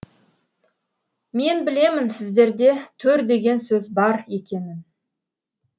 мен білемін сіздерде төр деген сөз бар екенін